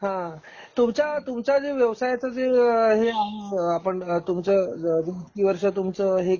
हां.तुमचा तुमचा जो व्यवसायचा जे हे आ आपण तुमच तुमचं हे